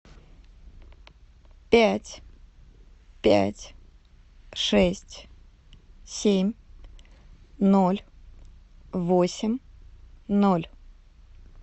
пять пять шесть семь ноль восемь ноль